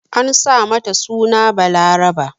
An sa mata suna Balaraba.